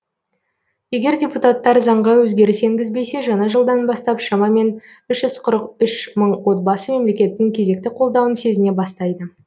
егер депутаттар заңға өзгеріс енгізбесе жаңа жылдан бастап шамамен үш жүз қырық үш мың отбасы мемлекеттің кезекті қолдауын сезіне бастайды